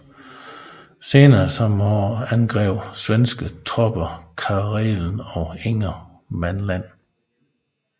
Senere samme år angreb svenske tropper Karelen og Ingermanland